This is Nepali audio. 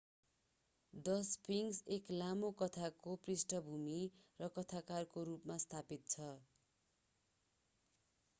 the sphinx एक लामो कथाको पृष्ठभूमि र कथाकारका रूपमा स्थापित छ